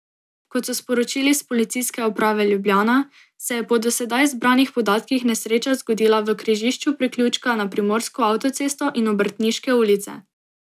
Kot so sporočili s Policijske uprave Ljubljana, se je po do sedaj zbranih podatkih nesreča zgodila v križišču priključka na primorsko avtocesto in Obrtniške ulice.